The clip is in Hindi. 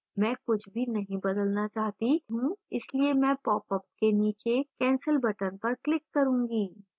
मैं कुछ भी नहीं बदलना चाहती हूँ इसलिए मैं popअप के नीचे cancel button पर click करूँगी